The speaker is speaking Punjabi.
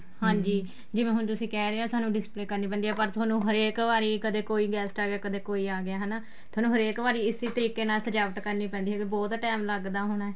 ਹਾਂਜੀ ਜਿਵੇਂ ਹੁਣ ਤੁਸੀਂ ਕਹਿ ਰਹੇ ਹੋ ਸਾਨੂੰ display ਕਰਨੀ ਪੈਂਦੀ ਏ ਪਰ ਤੁਹਾਨੂੰ ਵਾਰੀ ਕਦੇ ਕੋਈ guest ਆ ਗਿਆ ਕਦੇ ਕੋਈ ਆ ਗਿਆ ਹੈਨਾ ਤੁਹਾਨੂੰ ਹਰੇਕ ਵਾਰੀ ਇਸੇ ਤਰੀਕੇ ਨਾਲ ਸਜਾਵਟ ਕਰਨੀ ਪੈਂਦੀ ਹੋਵੇਗੀ ਬਹੁਤ time ਲੱਗਦਾ ਹੋਣਾ